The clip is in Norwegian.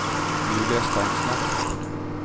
Julia Steinsland